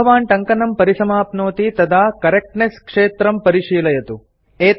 यदा भवान् टङ्कनं परिसमाप्नोति तदा करेक्टनेस क्षेत्रं परिशीलयतु